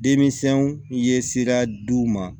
Denmisɛnw ye sira di u ma